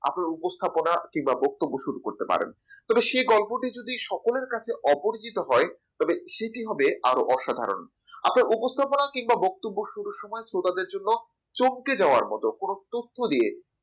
আপনার উপস্থাপনা কিংবা ব্যক্তিত্ব শুরু করতে পারেন তবে সেই গল্পটি যদি সকলের কাছে অপরিচিত হয় তবে সেটি হবে আরো অসাধারণ আপনার উপস্থাপনা কিংবা বক্তব্য সুরুর সময় শ্রোতাদের জন্য চমকে যাওয়ার মত কোন তথ্য দিয়ে